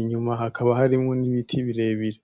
inyuma hakaba harimwo n’Ibiti birebire.